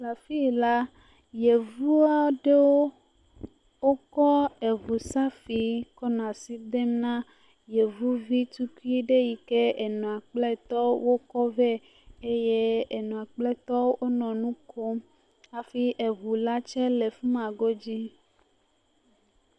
Afii la, yevu aɖowo wokɔ eŋu safi kɔnɔ asi dem na yovuvi tukui ɖe yi ke enɔa kple etɔo wokɔ vɛ eye enɔa kple tɔo wonɔ nu kom hafi eŋu la tsɛ le fi ma godzi.